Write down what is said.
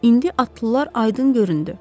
İndi atlılar aydın göründü.